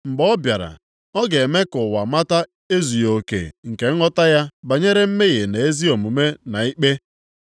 Mgbe ọ bịara, ọ ga-eme ka ụwa mata ezughị oke nke nghọta ya banyere mmehie, na ezi omume na ikpe,